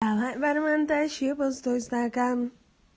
аа